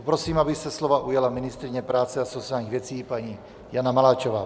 Poprosím, aby se slova ujala ministryně práce a sociálních věcí paní Jana Maláčová.